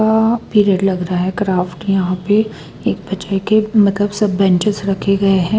अ period लग रहा है क्राफ्ट यहां पे एक के मतलब सब बेंचेस रखे गए हैं।